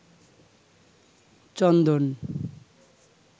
চন্দন